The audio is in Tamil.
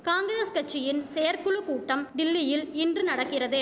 காங்கிரஸ் கட்சியின் செயற்குழு கூட்டம் டில்லியில் இன்று நடக்கிறது